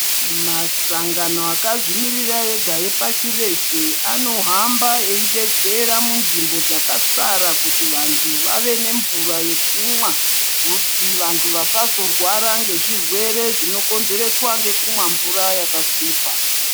Masangano akazvimirira ega epashi reshe anokuhamba eshedzera munzvimbo dzakasara kuti vantu vave nemvura yekumwa kuti vantu vasazorwara ngezvirwere zvinokonzereswa ngekumwa mvura yakasvipa.